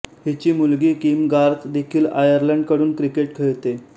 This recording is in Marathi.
हिची मुलगी किम गार्थ देखील आयर्लंड कडून क्रिकेट खेळते